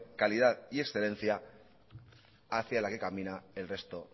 calidad y excedencia hacia la que camina el resto